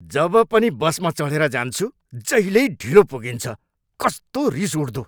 जब पनि बसमा चढेर जान्छु, जहिल्यै ढिलो पुगिन्छ, कस्तो रिस उठ्दो!